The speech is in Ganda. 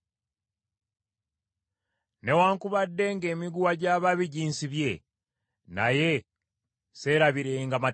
Newaakubadde ng’emiguwa gy’ababi ginsibye, naye seerabirenga mateeka go.